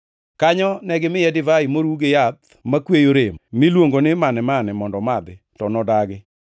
Kanyo negimiye divai moru gi yath makweyo rem miluongo ni mane-mane mondo omadhi, to nodagi.